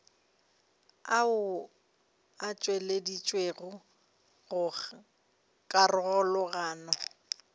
ao a tšweleditšwego go karolwana